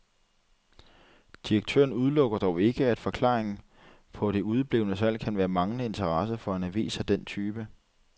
Direktøren udelukker dog ikke, at forklaringen på det udeblevne salg kan være manglende interesse for en avis af den type.